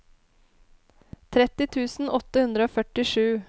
tretti tusen åtte hundre og førtisju